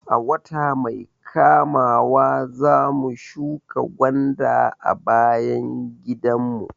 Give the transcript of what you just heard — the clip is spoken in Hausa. A wata mai kamawa zamu shuka gwanda a bayan gidan mu